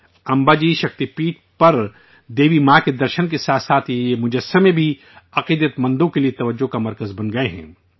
امباجی شکتی پیٹھ پر دیوی ماں کے درشن کے ساتھ ساتھ یہ مجسمے بھی عقیدت مندوں کے لیے توجہ کا مرکز بن گئے ہیں